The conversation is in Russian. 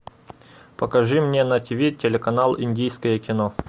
покажи мне на тв телеканал индийское кино